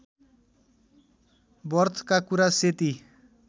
बर्थका कुरा सेती